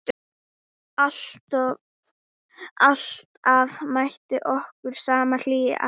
Alltaf mætti okkur sama hlýjan.